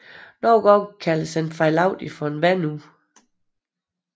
Nogle gange kaldes den fejlagtigt for et vandur